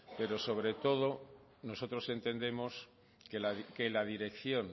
pero sobre todo nosotros entendemos que la dirección